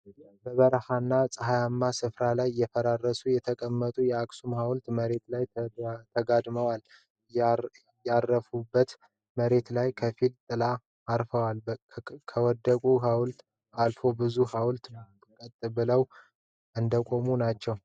በበረሃማ እና ጸሃያማ ስፍራ ላይ ፈራርሶ የተቀመጠው የአክሱም ሃዉልት በመሬቱ ላይ ተጋድሟል። ያረፈበት መሬት ላይም ከፊል ጥላው አርፏል። ከወደቀው ሃዉልት አልፎ ብዙ ሃውልቶች ቀጥ ብለው እንደቆሙ ናቸው።